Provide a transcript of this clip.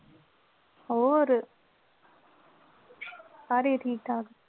ਹੋਰ ਸਾਰੇ ਠੀਕ ਠਾਕ।